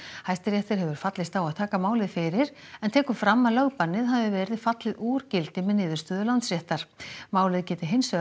Hæstiréttur hefur fallist á að taka málið fyrir en tekur fram að lögbannið hafi verið fallið úr gildi með niðurstöðu Landsréttar málið geti hins vegar